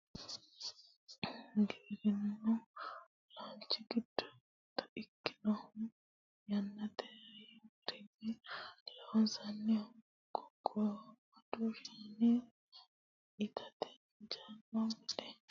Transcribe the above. giwirinnu laalchi giddo mitto ikkinohu yannate hayyo garinni loonsannihu qunqumadu shaani itate injaanno gede ikke noowa ikkasi noota anfanni baseeti yaate